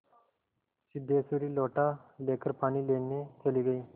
सिद्धेश्वरी लोटा लेकर पानी लेने चली गई